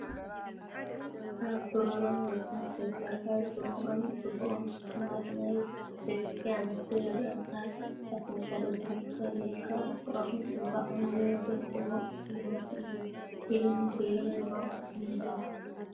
ካብ ብሩርን ወርቅን ዝተሰርሐ ድሙቕን ጽቡቕን ሽልማትናይ ደቂ ኣንስትዮ ይረአ። ኣብ ኣፍንጫን እዝንን ተኸዲንካ ፍቕርን ጽባቐን ዘብርህ ድሙቕ ሽልማት እዩ ኢለን ገይረነኦ እኒሄዋ።